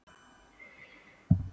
Hvað fór úrskeiðis?